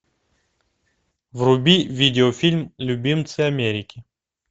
вруби видеофильм любимцы америки